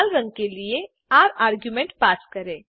लाल रंग के लिए र आर्ग्युमेंट पास करें